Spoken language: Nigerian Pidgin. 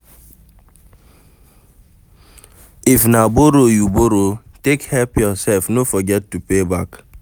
If na borrow you borrow take help yourself no forget to pay back